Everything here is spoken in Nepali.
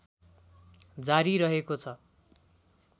जारी रहेको छ